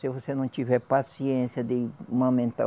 Se você não tiver paciência de mamentar.